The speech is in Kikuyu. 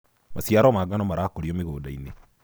maciaro ma ngano marakurio mĩgũnda-inĩ